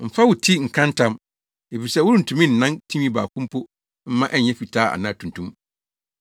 Mfa wo ti nka ntam, efisɛ worentumi nnan tinwi baako mpo mma ɛnyɛ fitaa anaa tuntum.